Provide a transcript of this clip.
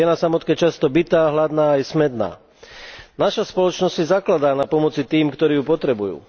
Je na samotke často bitá, hladná aj smädná. Naša spoločnosť si zakladá na pomoci tým, ktorý ju potrebujú.